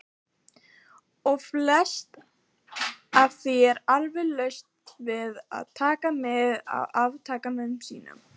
. og flest af því er alveg laust við að taka mið af viðtakanda sínum.